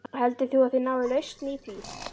Heldur þú að þið náið lausn í því?